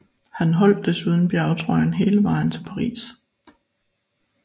Han holdt desuden bjergtrøjen hele vejen til Paris